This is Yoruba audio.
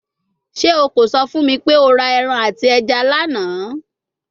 Ṣe o ko sọ fun mi pe o ra ẹran ati ẹja lana?